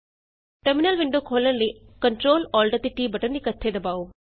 terminal window ਖੋਲ੍ਹਣ ਲਈ Ctrl Alt ਅਤੇ T ਬਟਨ ਇੱਕਠੇ ਦਬਾਉ